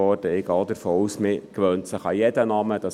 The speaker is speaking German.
Ich gehe auch davon aus, dass man sich an jeden Namen gewöhnt.